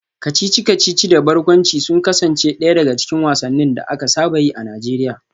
Kacici-kacici da barkwanci sun kasance daya daga cikin wasannin da aka saba yi a Najeriya